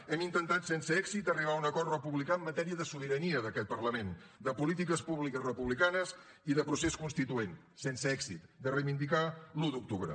hem intentat sense èxit arribar a un acord republicà en matèria de sobirania d’aquest parlament de polítiques públiques republicanes i de procés constituent sense èxit de reivindicar l’un d’octubre